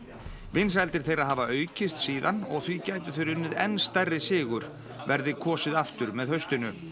vinsældir þeirra hafa aukist síðan og því gætu þeir unnið enn stærri sigur verði kosið aftur með haustinu